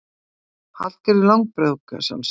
Hallgerður langbrók, að sjálfsögðu.